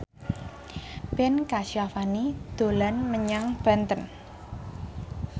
Ben Kasyafani dolan menyang Banten